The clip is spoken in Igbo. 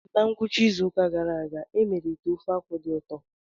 Na ngwụcha izu ụka gara aga, e mere ite ofe-akwu dị ụtọ.